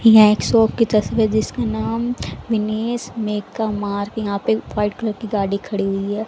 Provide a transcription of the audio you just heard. यह एक शॉप की तस्वीर जिसका नाम बिनेश मेका मार्क यहां पे व्हाइट कलर की गाड़ी खड़ी हुई है।